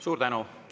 Suur tänu!